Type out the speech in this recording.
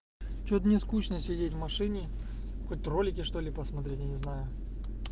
что-то мне скучно сидеть в машине хоть ролики что-ли посмотреть я не знаю